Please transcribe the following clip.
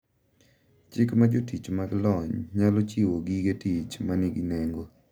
Chik ma jotich mag lony nyalo chiwo gige tich ma nigi nengo